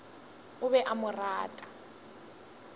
o be a mo rata